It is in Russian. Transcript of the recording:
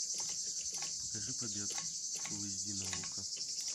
покажи побег фул эйч ди на окко